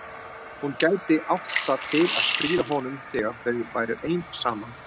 Hún gæti átt það til að stríða honum þegar þau væru ein saman.